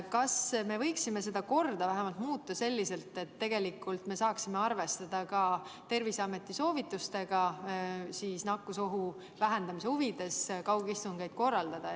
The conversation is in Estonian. Kas me võiksime seda korda muuta vähemalt selliselt, et saaksime arvestada Terviseameti soovitusi ja nakkusohu vähendamise huvides kaugistungeid korraldada?